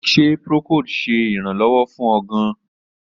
Ṣe procold ṣe iranlọwọ fun ọ gaan?